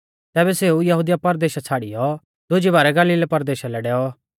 तैबै सेऊ यहुदिया परदेशा छ़ाड़ियौ दुजी बारै गलीला परदेशा लै डैऔ